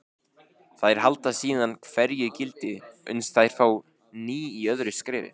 Þær halda síðan hverju gildi uns þær fá ný í öðru skrefi.